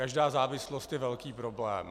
Každá závislost je velký problém.